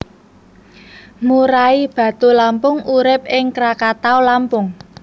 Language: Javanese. Murai batu Lampung urip ing Krakatau Lampung